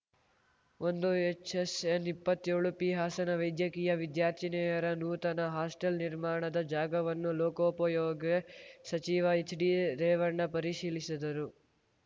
ಒಂದು H S N ಇಪ್ಪತ್ತೇಳು P Hassan ವೈದ್ಯಕೀಯ ವಿದ್ಯಾರ್ಥಿನಿಯರ ನೂತನ ಹಾಸ್ಟೆಲ್‌ ನಿರ್ಮಾಣದ ಜಾಗವನ್ನು ಲೋಕೋಪಯೋಗಿ ಸಚಿವ ಹೆಚ್‌ಡಿರೇವಣ್ಣ ಪರಿಶೀಲಿಸಿದರು